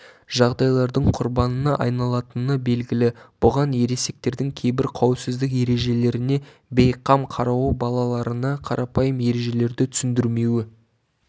жағдайлардың құрбанына айналатыны белгілі бұған ересектердің кейбір қауіпсіздік ережелеріне бейқам қарауы балаларына қарапайым ережелерді түсіндірмеуі